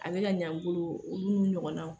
A bɛ ka ɲa n bolo, olu ɲɔgɔnnaw